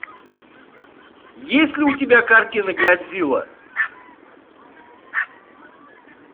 есть ли у тебя картина годзилла